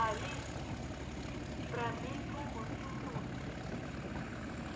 Aí, para mim, foi muito ruim.